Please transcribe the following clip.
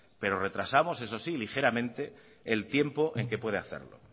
pero retrasamos eso sí ligeramente el tiempo en que puede hacerlo